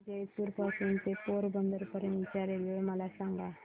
जेतपुर पासून ते पोरबंदर पर्यंत च्या रेल्वे मला सांगा